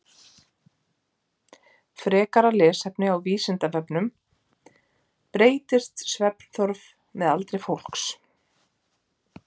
Frekara lesefni á Vísindavefnum: Breytist svefnþörf með aldri fólks?